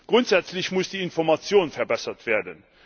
Grundsätzlich muss die Information verbessert werden.